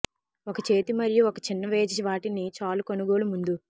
ఒక చేతి మరియు ఒక చిన్న వేచి వాటిని చాలు కొనుగోలు ముందు